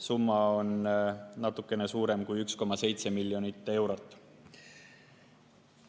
Summa on natukene suurem kui 1,7 miljonit eurot.